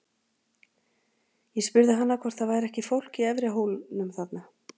Ég spurði hana hvort það væri ekki fólk í efri hólnum þarna.